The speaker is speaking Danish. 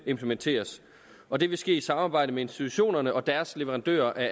implementeres og det vil ske i et samarbejde med institutionerne og deres leverandører af